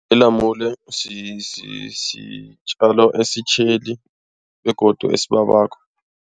Ilamule sitjalo esitjheli begodu esibabako.